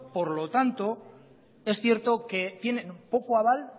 por lo tanto es cierto que tienen poco aval